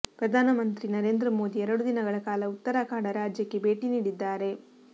ಪ್ರಧಾನಮಂತ್ರಿ ನರೇಂದ್ರ ಮೋದಿ ಎರಡು ದಿನಗಳ ಕಾಲ ಉತ್ತರಾಖಂಡ ರಾಜ್ಯಕ್ಕೆ ಭೇಟಿ ನೀಡಿದ್ದಾರೆ